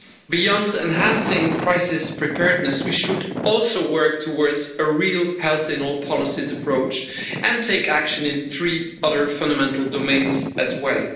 Beyond enhancing crisis preparedness, we should also work towards a real health in all policies' approach and take action in three other fundamental domains as well.